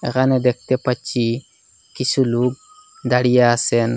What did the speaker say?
এখানে দেখতে পাচ্ছি কিছু লোক দাঁড়িয়ে আছেন।